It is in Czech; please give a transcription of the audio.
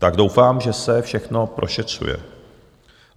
Tak doufám, že se všechno prošetřuje.